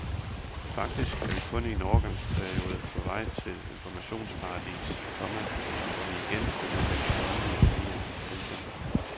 Faktisk er vi kun i en overgangsperiode på vej til et informationsparadis, komma hvor vi igen vil udveksle åndelige værdier. punktum